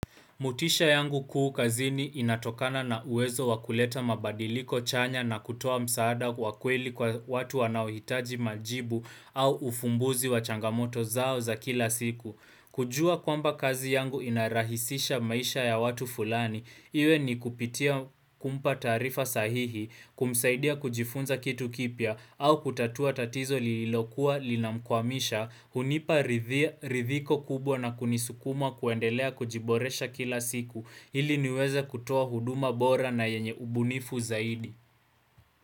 Motisha yangu kuu kazini inatokana na uwezo wakuleta mabadiliko chanya na kutoa msaada wakweli kwa watu wanauhitaji majibu au ufumbuzi wachangamoto zao za kila siku. Kujua kwamba kazi yangu inarahisisha maisha ya watu fulani, iwe ni kupitia kumpa tarifa sahihi, kumsaidia kujifunza kitu kipya, au kutatua tatizo lililokua linamkwamisha, hunipa rithiko kubwa na kunisukuma kuendelea kujiboresha kila siku, ili niweze kutua huduma bora na yenye ubunifu zaidi.